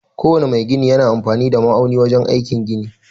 Ko wane mai gini yana amfani da ma'auni wajen aikin gini